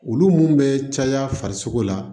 Olu mun be caya farisoko la